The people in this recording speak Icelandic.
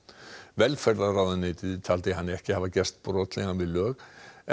velferðarráðuneytið taldi hann ekki hafa gerst brotlegan við lög en